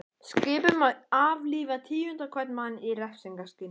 Skipun um að aflífa tíunda hvern mann í refsingarskyni.